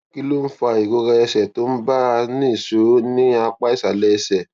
kí ló ń fa ìrora ẹsè tó ń bá a nìṣó ní apá ìsàlè ẹsè